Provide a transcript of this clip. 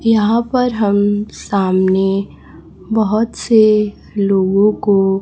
यहां पर हम सामने बहुत से लोगों को--